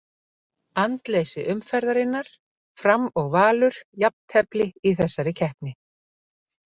Andleysi umferðarinnar: Fram og Valur Jafntefli í þessari keppni.